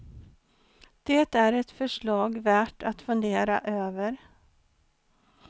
Det är ett förslag värt att fundera över.